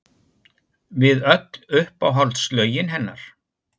Við öll uppáhaldslögin hennar!